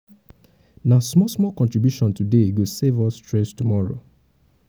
um na small-small contribution today go save us stress tomorrow.